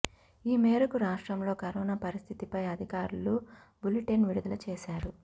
ఈ మేరకు రాష్ట్రంలో కరోనా పరిస్థితిపై అధికారులు బులిటెన్ విడుదల చేశారు